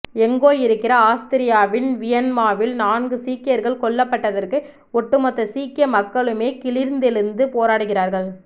எங்கோ இருக்கிற ஆஸ்திரியாவின் வியன்னாவில் நான்கு சீக்கியர்கள் கொல்லப்பட்டதற்கு ஒட்டு மொத்த சீக்கிய மக்களுமே கிளர்ந்தெழுந்து போராடுகிறார்கள்